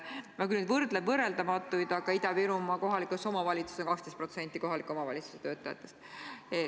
Ma küll võrdlen võrreldamatuid, aga Ida-Virumaal töötab kohalikes omavalitsustes 12% kõigist kohalike omavalitsuste töötajatest.